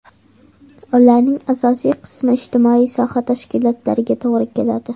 Ularning asosiy qismi ijtimoiy soha tashkilotlariga to‘g‘ri keladi.